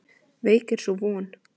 Veik er sú von.